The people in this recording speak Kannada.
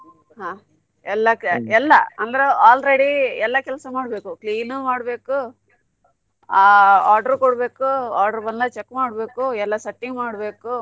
ಹಾ ಎಲ್ಲಾ ಎಲ್ಲಾ ಅಂದ್ರೆ already ಎಲ್ಲಾ ಕೆಲ್ಸ ಮಾಡ್ಬೇಕು clean ಮಾಡ್ಬೇಕು ಆ order ಕೊಡ್ಬೇಕು order ಬಂದಾಗ್ check ಮಾಡ್ಬೇಕು ಎಲ್ಲ setting ಮಾಡ್ಬೇಕು.